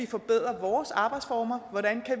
forbedre vores arbejdsformer hvordan